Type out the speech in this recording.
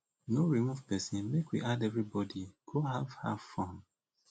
no remove person make we add everybody go have have fun